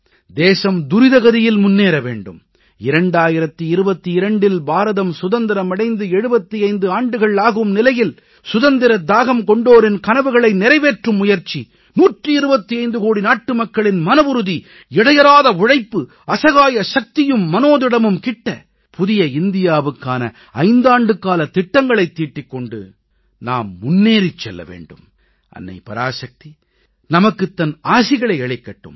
தேசம் துரித கதியில் முன்னேற வேண்டும் 2022இல் பாரதம் சுதந்திரம் அடைந்து 75 ஆண்டுகள் ஆகும் நிலையில் சுதந்திரத் தாகம் கொண்டோரின் கனவுகளை நிறைவேற்றும் முயற்சி 125 கோடி நாட்டுமக்களின் மனவுறுதி இடையறாத உழைப்பு அசகாய சக்தியும் மனோதிடமும் கிட்ட புதிய இந்தியாவுக்கான 5 ஆண்டுகாலத் திட்டங்களைத் தீட்டிக் கொண்டு நாம் முன்னேறிச் செல்ல வேண்டும் அன்னை பராசக்தி நமக்குத் தன் ஆசிகளை அளிக்கட்டும்